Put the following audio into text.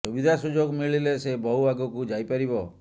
ସୁବିଧା ସୁଯୋଗ ମିଳିଲେ ସେ ବହୁ ଆଗକୁ ଯାଇ ପାରିବ